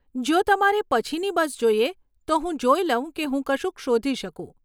જો તમારે પછીની બસ જોઈએ, તો હું જોઈ લઉં કે હું કશુંક શોધી શકું.